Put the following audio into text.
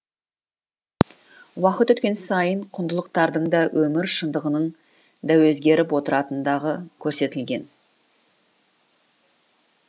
уақыт өткен сайын құндылықтардың да өмір шындығының да өзгеріп отыратындағы көрсетілген